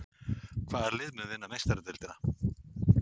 Hvaða lið mun vinna Meistaradeildina?